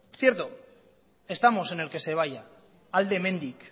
cierto estamos en el que se vaya alde hemendik